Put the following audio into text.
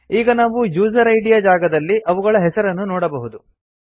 ಈಗ ನಾವು user ID ಯ ಜಾಗದಲ್ಲಿ ಅವುಗಳ ಹೆಸರನ್ನು ನೋಡಬಹುದು